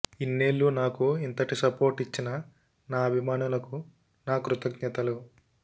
ఇన్నేళ్లు నాకు ఇంతటి సపోర్ట్ ఇచ్చిన నా అభిమానులకు నా కృతజ్ఞతలు